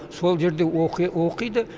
сол жерде оқиды